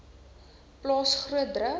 plaas groot druk